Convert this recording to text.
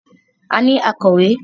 A ní akọ̀wé.